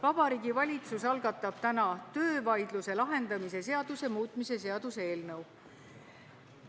Vabariigi Valitsus algatab täna töövaidluse lahendamise seaduse muutmise seaduse eelnõu.